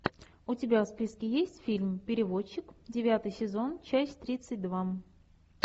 у тебя в списке есть фильм переводчик девятый сезон часть тридцать два